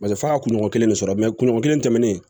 Paseke f'a ka kunɲɔgɔn kelen ne sɔrɔ kelen tɛmɛnen